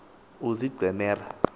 oozincemera